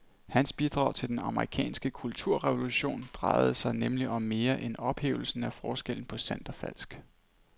Hans bidrag til den amerikanske kulturrevolution drejede sig nemlig om mere end ophævelsen af forskellen på sandt og falsk.